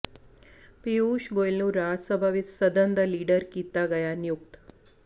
ਪਿਯੂਸ਼ ਗੋਇਲ ਨੂੰ ਰਾਜ ਸਭਾ ਵਿੱਚ ਸਦਨ ਦਾ ਲੀਡਰ ਕੀਤਾ ਗਿਆ ਨਿਯੁਕਤ